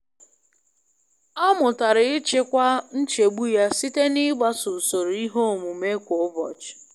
Ọ mụtara ịchịkwa nchegbu ya site n'ịgbaso usoro ihe omume kwa ụbọchị.